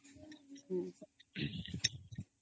noise